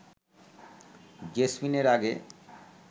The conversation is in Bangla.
জেসমিন এর আগে